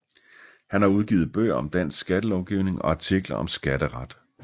Han har udgivet bøger om dansk skattelovgivning og artikler om skatteret